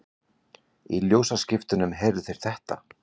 Í ljósaskiptunum heyrðu þeir þetta